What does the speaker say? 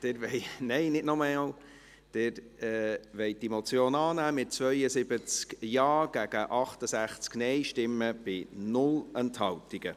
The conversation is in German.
Sie wollen die Motion annehmen, mit 72 Ja- gegen 68 Nein-Stimmen bei 0 Enthaltungen.